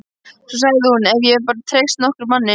Svo sagði hún: Ef ég bara gæti treyst nokkrum manni.